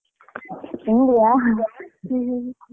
ಪುಂಡಿಯಾ?